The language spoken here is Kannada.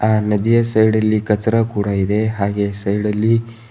ಆ ನದಿಯ ಸೈಡಲ್ಲಿ ಕಚರಾ ಕೂಡ ಇದೆ ಹಾಗೆ ಸೈಡಲ್ಲಿ--